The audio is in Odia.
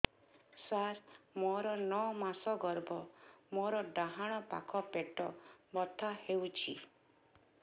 ସାର ମୋର ନଅ ମାସ ଗର୍ଭ ମୋର ଡାହାଣ ପାଖ ପେଟ ବଥା ହେଉଛି